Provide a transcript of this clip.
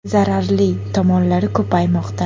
Zararli tomonlari ko‘paymoqda.